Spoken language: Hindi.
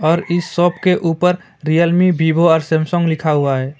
और इस शॉप के ऊपर रियलमी वीवो और सैमसंग लिखा हुआ है।